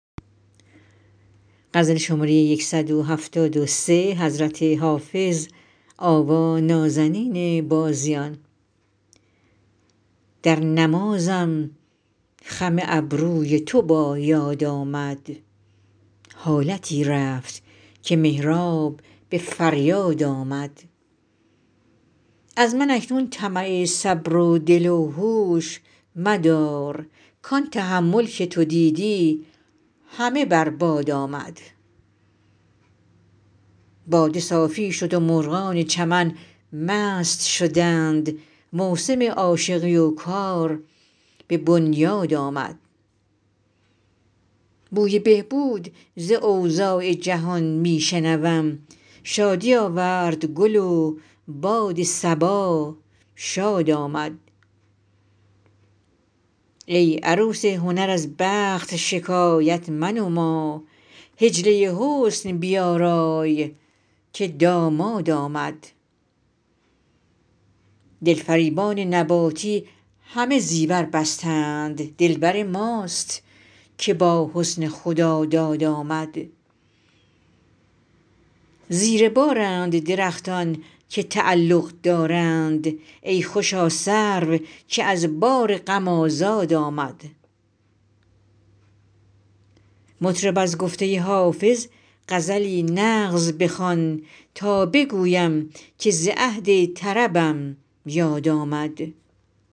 در نمازم خم ابروی تو با یاد آمد حالتی رفت که محراب به فریاد آمد از من اکنون طمع صبر و دل و هوش مدار کان تحمل که تو دیدی همه بر باد آمد باده صافی شد و مرغان چمن مست شدند موسم عاشقی و کار به بنیاد آمد بوی بهبود ز اوضاع جهان می شنوم شادی آورد گل و باد صبا شاد آمد ای عروس هنر از بخت شکایت منما حجله حسن بیارای که داماد آمد دلفریبان نباتی همه زیور بستند دلبر ماست که با حسن خداداد آمد زیر بارند درختان که تعلق دارند ای خوشا سرو که از بار غم آزاد آمد مطرب از گفته حافظ غزلی نغز بخوان تا بگویم که ز عهد طربم یاد آمد